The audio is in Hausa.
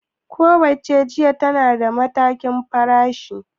ku wacce jiya tana da nata farashin